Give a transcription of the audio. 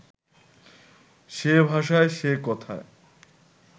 সে ভাষায়, সে কথায়